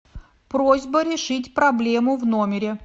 просьба решить проблему в номере